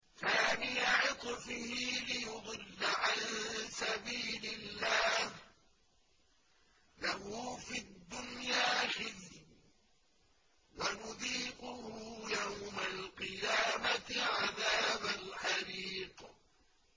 ثَانِيَ عِطْفِهِ لِيُضِلَّ عَن سَبِيلِ اللَّهِ ۖ لَهُ فِي الدُّنْيَا خِزْيٌ ۖ وَنُذِيقُهُ يَوْمَ الْقِيَامَةِ عَذَابَ الْحَرِيقِ